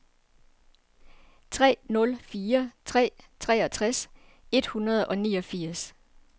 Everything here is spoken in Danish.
tre nul fire tre treogtres et hundrede og niogfirs